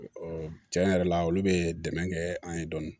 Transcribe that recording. tiɲɛ yɛrɛ la olu bɛ dɛmɛ kɛ an ye dɔɔnin